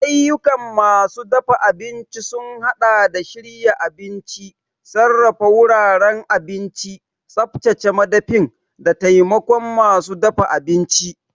Ayyukan masu dafa abinci sun haɗa da shirya abinci, sarrafa wuraren abinci, tsaftace madafin, da taimakon masu dafa abinci.